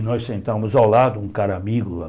E nós sentávamos ao lado, um cara amigo lá.